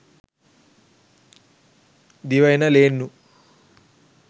දිව එන ලේන්නු